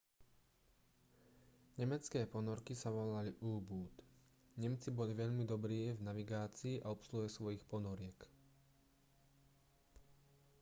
nemecké ponorky sa volali u-boot nemci boli veľmi dobrí v navigácii a obsluhe svojich ponoriek